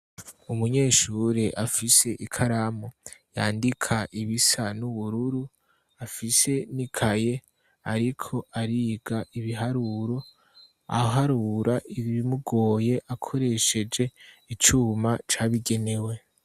Umunyeshure afise ikaramu yandika ibisa n'ubururu afise nikaye ariko ariga ibiharuro aharura ibimugoye akoresheje icuma cabigenewe.